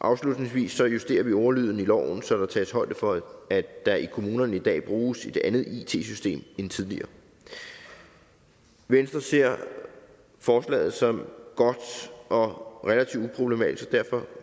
afslutningsvis justerer vi ordlyden i loven så der tages højde for at der i kommunerne i dag bruges et andet it system end tidligere venstre ser forslaget som godt og relativt uproblematisk og derfor